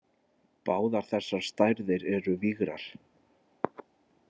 Báðar þessar stærðir eru vigrar.